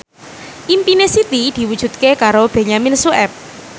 impine Siti diwujudke karo Benyamin Sueb